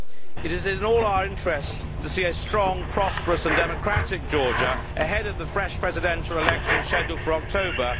It is in all our interests to see a strong, prosperous and democratic Georgia ahead of the fresh presidential election scheduled for October.